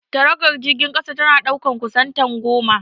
Taragon jirgin kasa tana ɗaukar kusan tan goma.